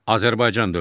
Azərbaycan dövləti.